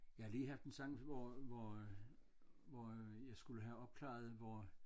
Jeg har lige haft en sang hvor hvor øh hvor øh jeg skulle have opklaret hvor